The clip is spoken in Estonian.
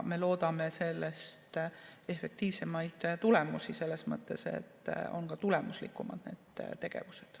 Me loodame efektiivsemaid tulemusi selles mõttes, et need tegevused on ka tulemuslikumad.